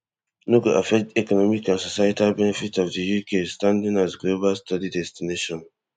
no go affect economic and societal benefits of di uk standing as a global study destination